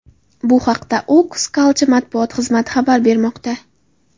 Bu haqda Oxus Culture matbuot xizmati xabar bermoqda.